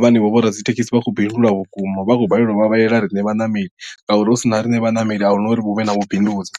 vhane vho vho radzithekhisi vha khou bindula vhukuma vha khou balelwa u vhavhalela riṋe vhaṋameli ngauri hu sina riṋe vhaṋameli ahuna uri hu vhe na vhubindudzi.